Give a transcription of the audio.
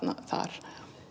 þar